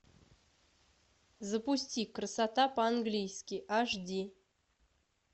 запусти красота по английски аш ди